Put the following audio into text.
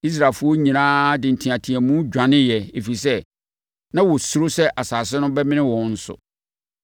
Israelfoɔ nyinaa de nteateamu dwaneeɛ, ɛfiri sɛ, “Nna wɔsuro sɛ asase no bɛmene wɔn nso!”